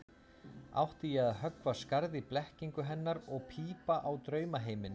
Átti ég að höggva skarð í blekkingu hennar og pípa á draumaheiminn?